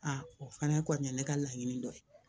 o fana kɔni ye ne ka laɲini dɔ ye